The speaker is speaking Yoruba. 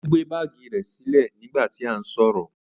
O gbe baagi rẹ silẹ nigba ti a n sọrọ.